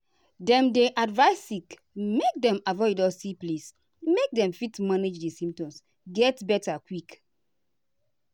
dem dey advise sick make dem avoid dusty place make dem fit manage di symptoms get beta quick.